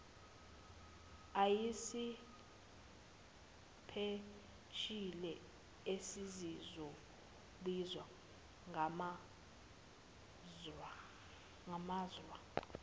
ayisipesheli esezizobizwa ngamasra